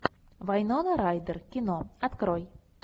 вайнона райдер кино открой